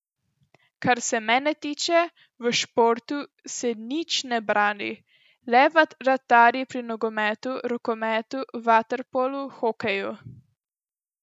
Kar se mene tiče, v športu se nič ne brani, le vratarji pri nogometu, rokometu, vaterpolu, hokeju.